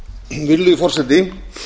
virðulegi forseti